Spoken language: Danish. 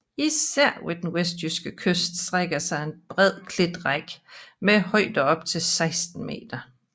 Især ved den vestlige kyst strækker sig en brede klitrække med højder op til 16 meter